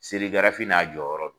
n'a jɔyɔrɔ do.